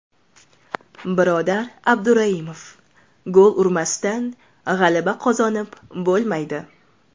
Birodar Abduraimov: Gol urmasdan g‘alaba qozonib bo‘lmaydi.